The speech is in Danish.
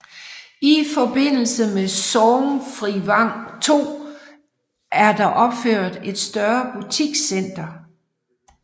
I forbindelse med Sorgnfrivang II er der opført et større butikscenter